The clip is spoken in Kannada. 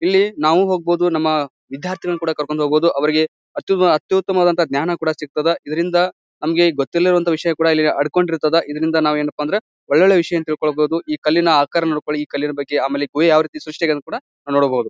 ಇಲ್ಲಿ ನಾವು ಹೋಗ್ಬಹುದು ನಮ್ಮ ವಿದ್ಯಾರ್ಥಿಗಳನ್ನುಕೂಡ ಕರ್ಕೊಂಡ್ ಹೋಗ್ಬಹುದು ಅವರಿಗೆ ಅತ್ಯುತ್ತಮವದ ಜ್ಞಾನ ಕೂಡ ಸಿಗಿತ್ತದೆ ಇದರಿಂದ ನಮಗೆ ಗೊತ್ತಿಲ್ಲ ಇರುವಂತಹ ವಿಷಯ ಕೂಡ ಆಡ್ಕೊಂಡ್ ಇರ್ತದ ಇದ್ರಿಂದ ಏನಪ್ಪಅಂದ್ರೆ ಒಳ್ಳೊಳ್ಳೆ ವಿಷಯವನ್ನು ತಿಳಿದುಕೊಳ್ಬಹುದು ಈ ಕಲ್ಲಿನ ಆಕಾರ ನೋಡ್ಕೊಳ್ಳಿ ಈ ಕಲ್ಲಿನ ಬಗ್ಗೆ ಆಮೇಲೆ ಈ ಗುಹೆ ಯಾವ ರೀತಿ ಸ್ರಷ್ಟಿ ಆಗಿದೆ ಕೂಡ ನೋಡಬಹುದು.